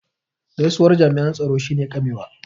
gaisuwar jami' an tsaro shi ne ƙamewa